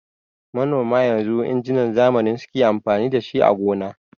Manoma yanzu injinan zamani suke amfani dashi a gona.